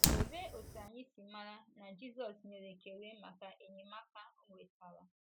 Olee otú anyị si mara na Jizọs nyere ekele maka enyemaka o nwetara?